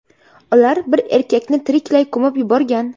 Ular bir erkakni tiriklay ko‘mib yuborgan.